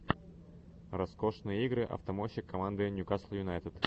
роскошные игры автомойщик команды ньюкасл юнайтед